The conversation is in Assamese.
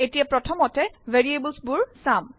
এতিয়া প্ৰথমেত ভেৰিয়েবল বোৰ চাম